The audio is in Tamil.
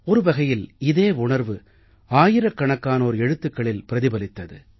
ஒரு வகையில் இதே உணர்வு ஆயிரக்கணக்கானோர் எழுத்துக்களில் பிரதிபலித்தது